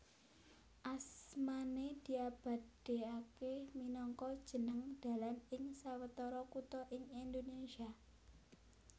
Asmané diabadèkaké minangka jeneng dalan ing sawetara kutha ing Indonésia